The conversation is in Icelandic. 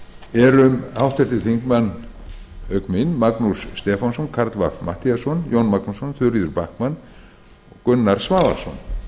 við erum auk mín háttvirtir þingmenn magnús stefánsson karl fimmti matthíasson jón magnússon þuríður backman og gunnar svavarsson